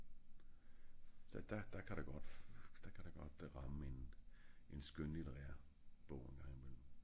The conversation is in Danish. Der der ka der godt der ramme en skønlitterær bog en gang i mellem